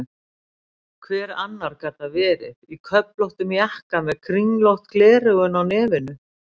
Hver annar gat það verið, í köflóttum jakka með kringlótt gleraugu á nefinu?